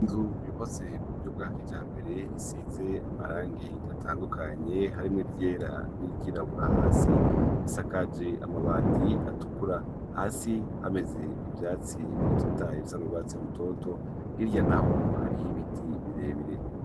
Inzu yubatse mu buryo bw'akijambere isize amarangi atandukanye harimwo iryera n'iryirabura hasi isakaje amabati atukura hasi hameze ivyatsi bitotaye bisa n'urwatsi rutoto hirya naho hariho ibiti birebire.